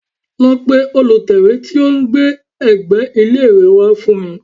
Lọ pe olùtẹ́wé tí ó ń gbé ẹ̀gbẹ́ ilé rẹ wá fún mi